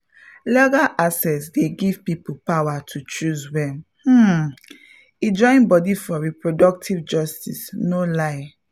legal access dey give people power to choose well um — e join body for reproductive justice no lie!